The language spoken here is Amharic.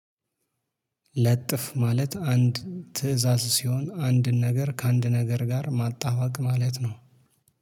ለጥፍ ማለት አንድ ትእዛዝ ሲሆን አንድን ነገር ከአንድ ነገር ጋር ማጣዋቅ ማለት ነው